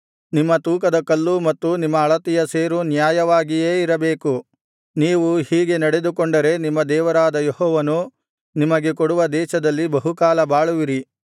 ನಿಮ್ಮ ತೂಕದ ಕಲ್ಲೂ ಮತ್ತು ನಿಮ್ಮ ಅಳತೆಯ ಸೇರೂ ನ್ಯಾಯವಾಗಿಯೇ ಇರಬೇಕು ನೀವು ಹೀಗೆ ನಡೆದುಕೊಂಡರೆ ನಿಮ್ಮ ದೇವರಾದ ಯೆಹೋವನು ನಿಮಗೆ ಕೊಡುವ ದೇಶದಲ್ಲಿ ಬಹುಕಾಲ ಬಾಳುವಿರಿ